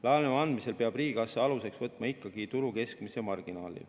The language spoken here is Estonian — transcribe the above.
Laenu andmisel peab riigikassa aluseks võtma ikkagi turu keskmise marginaali.